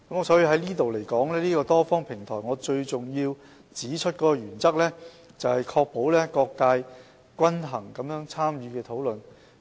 所以，就此而言，這個多方平台最重要的原則，是確保各界可均衡參與討論。